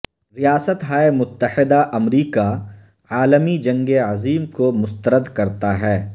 ریاستہائے متحدہ امریکہ عالمی جنگ عظیم کو مسترد کرتا ہے